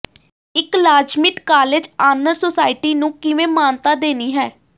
ਇਕ ਲਾਜ਼ਮੀਟ college honour society ਨੂੰ ਕਿਵੇਂ ਮਾਨਤਾ ਦੇਣੀ ਹੈ